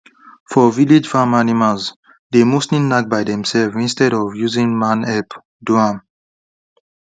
for village farm animals dey mostly knack by themselves instead of using man help do am